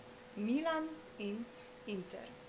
Milan in Inter.